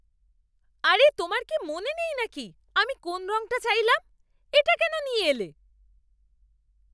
আরে, তোমার কি মনে নেই নাকি আমি কোন রংটা চাইলাম? এটা কেন নিয়ে এলে?